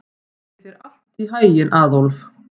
Gangi þér allt í haginn, Aðólf.